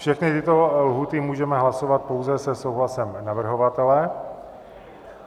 Všechny tyto lhůty můžeme hlasovat pouze se souhlasem navrhovatele.